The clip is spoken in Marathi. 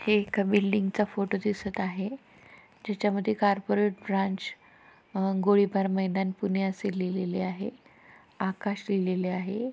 हे एका बिल्डिंगचा फोटो दिसत आहे ज्याच्या मध्ये कार्पोरेट ब्रांच गोळीबार मैदान पुणे असे लिहलेले आहे आकाश लिहिलेले आहे.